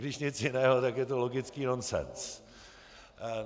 Když nic jiného, tak je to logický nonsens.